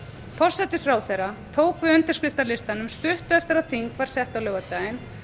forsætisráðherra tók við undirskriftalistanum stuttu eftir að þing var sett á laugardaginn